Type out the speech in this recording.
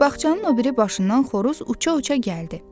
Bağçanın o biri başından xoruz uça-uça gəldi.